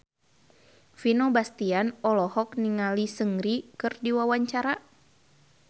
Vino Bastian olohok ningali Seungri keur diwawancara